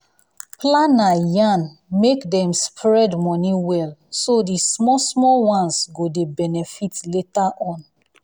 planner yarn make dem spread money well so the small small ones go dey benefit later on